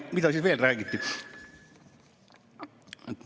Mida siin veel räägiti?